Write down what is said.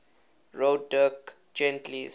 wrote dirk gently's